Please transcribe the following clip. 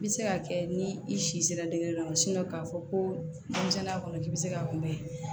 I bɛ se ka kɛ ni i si sera dege dɔ ma k'a fɔ ko denmisɛnninya kɔnɔ k'i bɛ se k'a kunbɛ